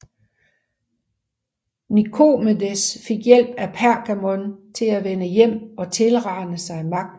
Nikomedes fik hjælp af Pergamon til at vende hjem og tilrane sig magten